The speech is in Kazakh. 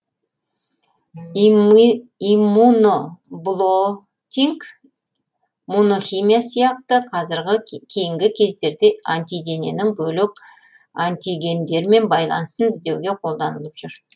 иммуноблотинг мунохимия әдісі кейінгі кездерде антидененің бөлек антигендермен байланысын іздеуге қолданылып жүр